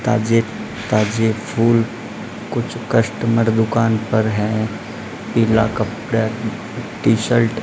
ताजे ताजे फूल कुछ कस्टमर दुकान पर है पीला कपड़ा टी शर्ट --